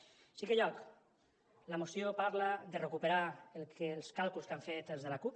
en cinquè lloc la moció parla de recuperar els càlculs que han fet els de l’acup